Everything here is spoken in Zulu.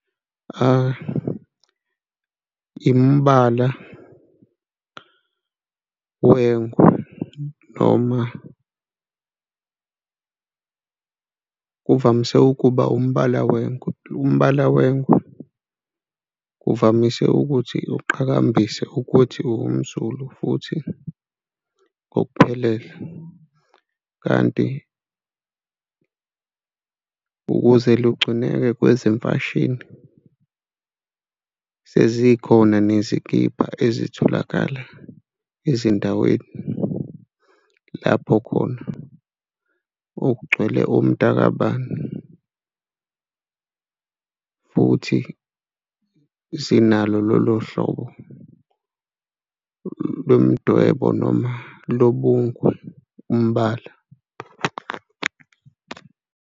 Hha, imbala yengwe noma kuvamise ukuba umbala wengwe. Umbala wengwe kuvamise ukuthi uqhakambisa ukuthi uwumZulu futhi ngokuphelele, kanti ukuze lugcineke kwezemfashini sezikhona nezikibha ezitholakala ezindaweni lapho khona okugcwele omntaka kabani futhi sinalo lolo hlobo lomdwebo noma lobungwe umbala.